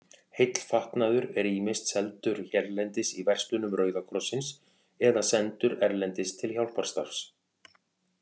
Heill fatnaður er ýmist seldur hérlendis í verslunum Rauða krossins eða sendur erlendis til hjálparstarfs.